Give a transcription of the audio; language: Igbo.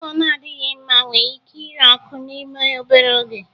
Ụlọ na-adịghị mma nwere ike ire ọkụ n'ime obere oge